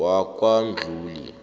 wakwamdluli